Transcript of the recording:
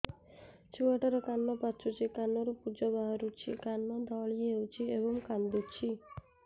ଛୁଆ ଟା ର କାନ ପାଚୁଛି କାନରୁ ପୂଜ ବାହାରୁଛି କାନ ଦଳି ହେଉଛି ଏବଂ କାନ୍ଦୁଚି